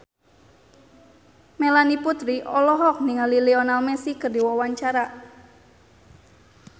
Melanie Putri olohok ningali Lionel Messi keur diwawancara